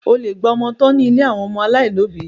O lè gba ọmọ tọ́ ní ilé àwọn ọmọ aláìní òbí.